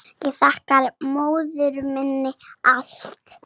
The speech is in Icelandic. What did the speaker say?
Ég þakka móður minni allt.